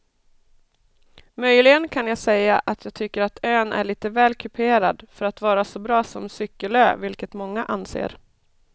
Möjligen kan jag säga att jag tycker att ön är lite väl kuperad för att vara så bra som cykelö vilket många anser.